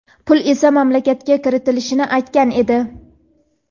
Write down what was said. pul esa mamlakatga kiritilishini aytgan edi.